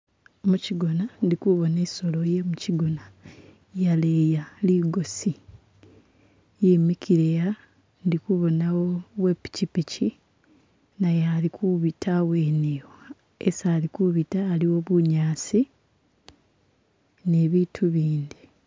Muchigona indikubona isoolo ye muchigona yaleya ligosi yimikile ha indi kubonawo we pikipiki naye alikubita hawenewo hesi alikubita haliwo bunyasi ni bitu bindi.